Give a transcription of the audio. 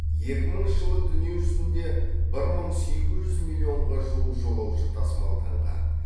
екі мыңыншы жылы дүние жүзінде бір мың сегіз жүз миллионға жуық жолаушы тасымалданған